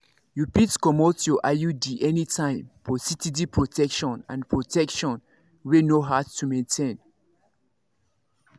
you fit comot your iud anytime for steady protection and protection wey no hard to maintain.